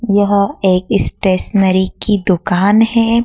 यह एक स्टेशनरी की दुकान है।